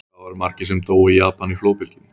Hvað voru margir sem dóu í Japan í flóðbylgjunni?